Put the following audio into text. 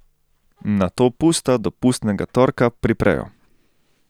Nato pusta do pustnega torka priprejo.